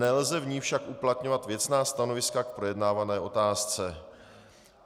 Nelze v ní však uplatňovat věcná stanoviska k projednávané otázce."